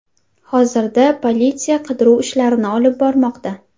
Hozirda politsiya qidiruv ishlarini olib bormoqda.